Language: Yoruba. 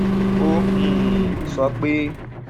ó um sọ pé